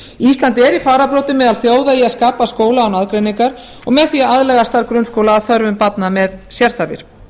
er í fararbroddi meðal þjóða í að skapa skóla án aðgreiningar og með því að aðlaga starf grunnskóla að þörfum barna með sérþarfir